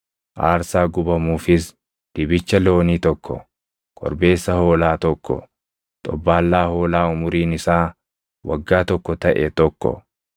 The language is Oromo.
aarsaa gubamuufis dibicha loonii tokko, korbeessa hoolaa tokko, xobbaallaa hoolaa umuriin isaa waggaa tokko taʼe tokko,